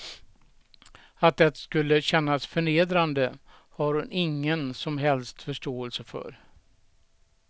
Att det skulle kännas förnedrande har hon ingen som helst förståelse för.